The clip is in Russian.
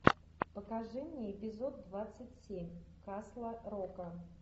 покажи мне эпизод двадцать семь касла рока